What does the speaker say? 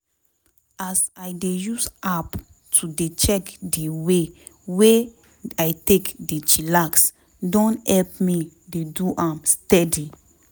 as i dey use app to dey check di way wey i take dey chillax don help me dey do am steady.